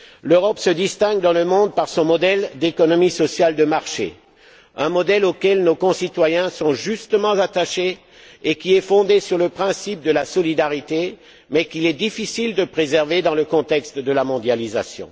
L'Europe se distingue dans le monde par son modèle d'économie sociale de marché, un modèle auquel nos concitoyens sont justement attachés et qui est fondé sur le principe de la solidarité, mais qu'il est difficile de préserver dans le contexte de la mondialisation.